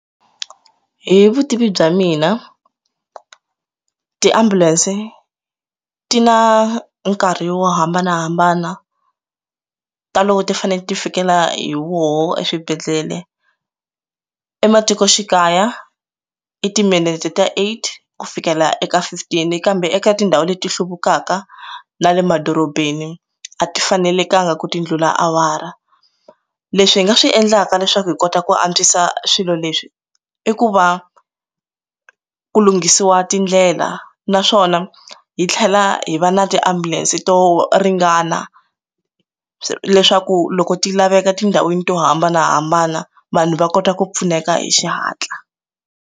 Hi vutivi bya mina ti ambulance ti na nkarhi yo hambanahambana ta loko ti fane ti fikelela hi woho eswibedhlele ematikoxikaya i timinete ta aid ku fikela eka fifteen kambe eka tindhawu leti hluvukaka na le madorobeni a ti fanelanga ku tindlula awara leswi hi nga swi endlaka leswaku hi kota ku antswisa swilo leswi i ku va ku lunghisiwa tindlela naswona hi tlhela hi va na tiambulense to ringana leswaku loko ti laveka tindhawini to hambanahambana vanhu va kota ku pfuneka hi xihatla.